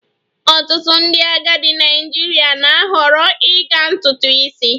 Ọtụtụ ndị agadi Naịjirịa na-ahọrọ ịga ntutu isi